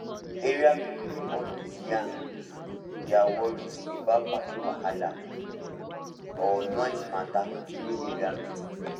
area people dey always yarn um their worry about parking wahala um or noise mata during area meeting